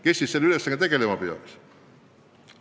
Kes siis selle ülesandega tegelema peaks?